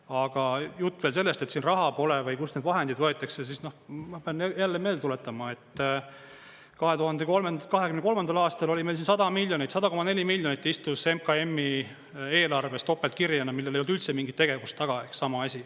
Aga jutt veel sellest, et raha pole või kust need vahendid võetakse – no ma pean jälle meelde tuletama, et 2023. aastal oli meil 100 miljonit, 100,4 miljonit istus MKM-i eelarves topeltkirjena, millel ei olnud üldse mingit tegevust taga, ehk sama asi.